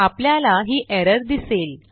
आपल्याला ही एरर दिसेल